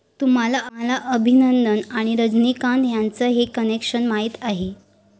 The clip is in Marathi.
तुम्हाला अभिनंदन आणि रजनीकांत यांचं हे कनेक्शन माहीत आहे?